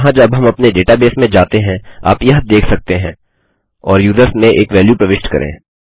यहाँ जब हम अपने डेटाबेस में जाते हैं आप यह देख सकते हैं और यूजर्स में एक वैल्यू प्रविष्ट करें